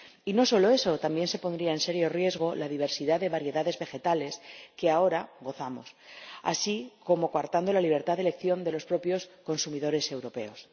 Y no solo eso, también se pondría en serio riesgo la diversidad de variedades vegetales de que ahora gozamos y se coartaría la libertad de elección de los propios consumidores europeos.